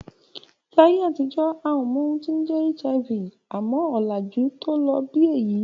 Láyé àtijọ́ a ò mọ ohun tó ń jẹ́ HIV, àmọ́ ọ̀làjú tó ló bí èyí